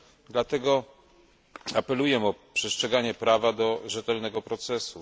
Dlatego apeluję o przestrzeganie prawa do rzetelnego procesu.